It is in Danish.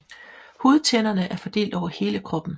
Hudtænderne er fordelt over hele kroppen